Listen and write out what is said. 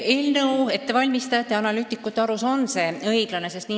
Eelnõude ettevalmistajate ja analüütikute arust on see õiglane.